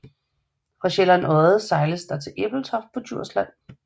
Fra Sjællands Odde sejles der også til Ebeltoft på Djursland